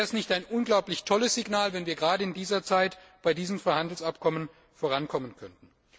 Wäre es nicht ein unglaublich tolles Signal, wenn wir gerade in dieser Zeit bei diesen Freihandelsabkommen vorankommen könnten?